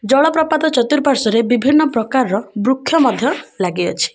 ଜଳପ୍ରପାତ ଚତୁର୍ପାଶ୍ଵ ରେ ବିଭିନ୍ନ ପ୍ରକାର ର ବୃକ୍ଷ ମଧ୍ୟ ଲାଗି ଅଛି।